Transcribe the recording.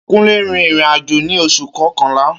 Kúnlé rin ìrìn àjò ní oṣù kọkànlá